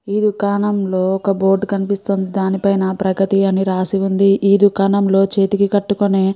ఈ దుకాణం లో ఒక బోర్డు కనిపిస్తోంది. దాని పైన ప్రగతి అని రాసి ఉంది ఈ దుకాణం లో చేతికి కట్టుకునే --